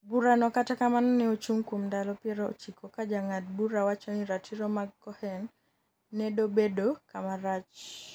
bura no kata kamano ne ochung kuom ndalo piero chiko ka jang'ad bura wacho ni ratiro mag Cohen nedobedo kamarach